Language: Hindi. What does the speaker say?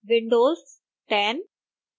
windows 10